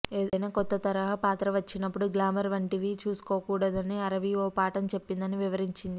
ఏదైనా కొత్త తరహా పాత్ర వచ్చినప్పుడు గ్లామర్ వంటి వి చూసుకోకూడదని అరవి ఓ పాఠం చెప్పిందని వివరించింది